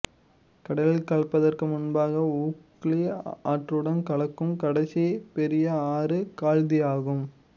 கடலில் கலப்பதற்கு முன்பாக ஊக்லி ஆற்றுடன் கலக்கும் கடைசி பெரிய ஆறு கால்தியாகும்